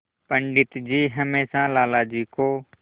पंडित जी हमेशा लाला जी को